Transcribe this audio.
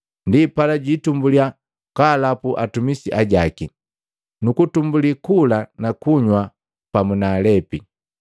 Ndipala jiitumbuliya kwaalapu atumisi ajaki, nukutumbuli kula na kuywa pamu na alepi.